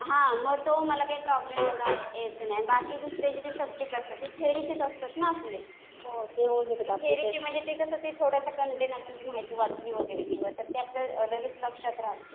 हा. मग तो मला काही प्रॉब्लेम एवढा यायचा नाही. बाकी दुसरे जे काही सब्जेक्ट असतात. ते थेरीचे असतात ना आपले. ते थेरीचे म्हणजे कसं थोडंसं कन्टेन्ट आपण ती माहिती वाचली वगैरे तर ते आपल्या लगेच लक्षात राहतं.